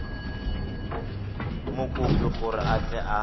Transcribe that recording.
mokopi gore a tle a